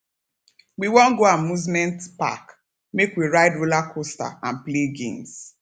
we wan go amusement park make we ride rollercoaster and play games